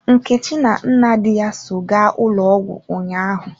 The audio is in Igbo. Nkechi na nne di ya so gaa ụlọ ọgwụ ụnyaahụ.